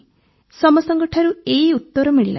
ସମସ୍ତଙ୍କଠାରୁ ଏହି ଉତ୍ତର ମିଳିଲା ସାର୍